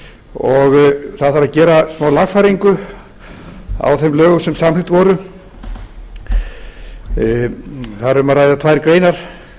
og það varð að gera smálagfæringu á þeim lögum sem samþykkt voru það er um að ræða tvær greinar